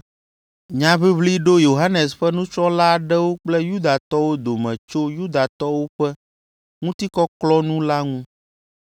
Nyaʋiʋli ɖo Yohanes ƒe nusrɔ̃la aɖewo kple Yudatɔwo dome tso Yudatɔwo ƒe ŋutikɔklɔkɔnu la ŋu.